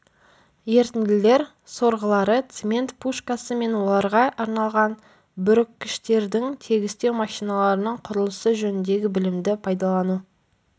ерітінділер сорғылары цемент-пушкасы мен оларға арналған бүріккіштердің тегістеу машиналарының құрылысы жөніндегі білімді пайдалану